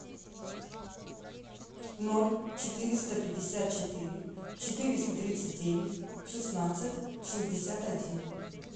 ноль четыреста пятьдесят четыре четыреста тридцать девять шестнадцать шестьдесят один